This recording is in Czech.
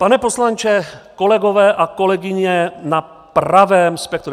Pane poslanče, kolegové a kolegyně na pravém spektru.